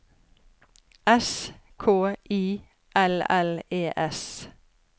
S K I L L E S